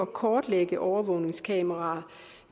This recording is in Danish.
kortlægge overvågningskameraer